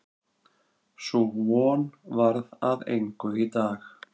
Sú von varð að engu í dag.